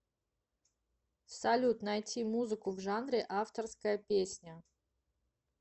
салют найти музыку в жанре авторская песня